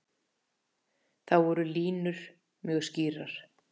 Þar voru línur mjög skýrar.